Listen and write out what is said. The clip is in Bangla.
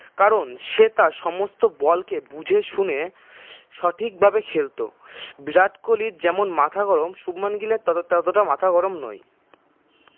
কারন সে তার সমস্ত বলকে বুঝে শুনে সঠিকভাবে খেলত বিরাট কোহলির যেমন মাথা গরম শুভমান গিলের তত ততটা মাথা গরম নয়